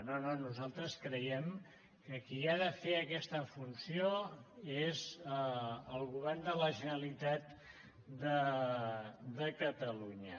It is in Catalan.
no no nosaltres creiem que qui ha de fer aquesta funció és el govern de la generalitat de catalunya